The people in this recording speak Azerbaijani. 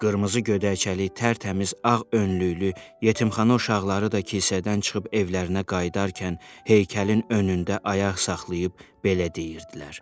Qırmızı gödəkcəli tərtəmiz ağ önlüklü yetimxana uşaqları da küçədən çıxıb evlərinə qayıdarkən heykəlin önündə ayaq saxlayıb belə deyirdilər.